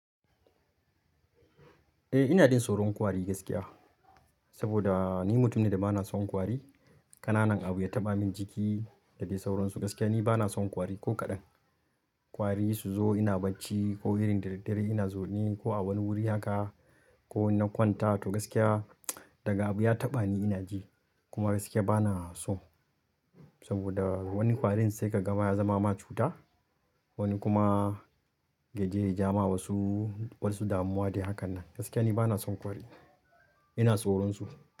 Eh ina jin tsoron ƙwari gaskiya. Saboda ni mutum ne da bana son ƙwari. Ƙananan abu ya taɓa min jiki da ke sauransu gaskiya ni bana son ƙwari ko kaɗan. Ƙwari su zo ina bacci ko irin dare dare ina zaune ko a wani wuri haka ko in na kwanta to gaskiya daga abu ya taɓa ni ina ji kuma gaskiya bana so. Saboda wani ƙwari in sai ka gama ya zama ma cuta wani kuma ya je ya ja ma wasu wasu damuwa dai hakan nan. Gaskiya ni bana son ƙwari ina tsoron su.